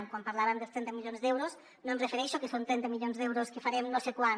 quan parlàvem dels trenta milions d’euros no em refereixo a que són trenta milions d’euros que farem no sé quan